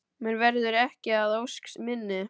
Mér verður ekki að ósk minni.